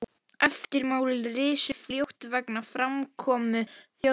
Eftirmál risu fljótt vegna framkomu Þjóðverja.